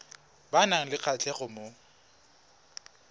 ba nang le kgatlhego mo